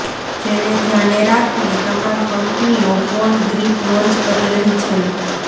જેને ધ્યાને રાખીને તમામ કંપનીઓ ફોન ગ્રિપ લોન્ચ કરી રહી છે